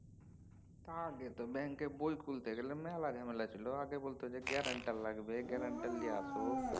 আগে তো ব্যাঙ্কের বই খুলতে গেলে মেলা ঝামেলা ছিল। আগে বলত যে guarantor লাগবে guarantor লিয়ে আস।